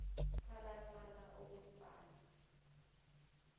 thala thala okomfana